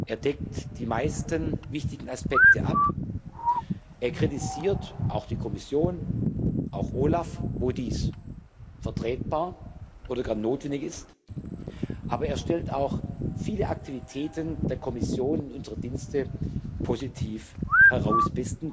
Er deckt die meisten wichtigen Aspekte ab, er kritisiert auch die Kommission, auch OLAF, wo dies vertretbar oder gar notwendig ist, aber er stellt auch viele Aktivitäten der Kommission und unserer Dienste positiv heraus.